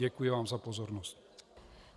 Děkuji vám za pozornost.